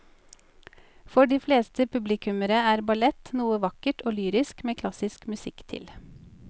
For de fleste publikummere er ballett noe vakkert og lyrisk med klassisk musikk til.